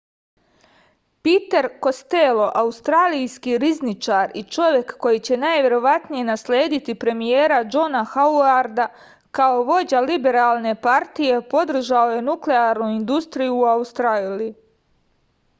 piter kostelo australijski rizničar i čovek koji će najverovatnije naslediti premijera džona hauarda kao vođa liberalne partije podržao je nuklearnu industriju u australiji